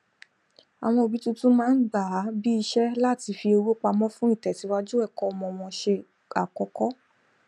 àwọn òbí tuntun máa ń gbà á bí isé láti fi owó pamó fún ìtẹsíwájú ẹkọ ọmọ wọn se àkókó